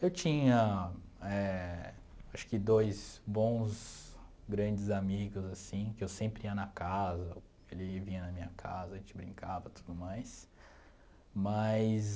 Eu tinha eh, acho que dois bons, grandes amigos, assim, que eu sempre ia na casa, que ele vinha na minha casa, a gente brincava e tudo mais, mas...